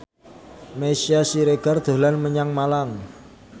Meisya Siregar dolan menyang Malang